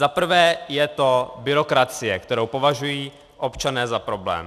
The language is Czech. Za prvé je to byrokracie, kterou považují občané za problém.